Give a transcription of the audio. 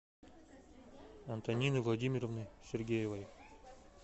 антонины владимировны сергеевой